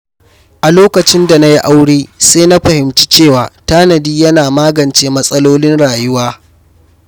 A lokacin da na yi aure, sai na fahimci cewa tanadi yana magance matsalolin rayuwa.